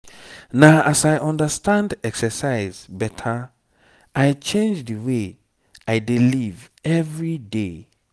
na as i understand exercise better i change the way i dey live every day.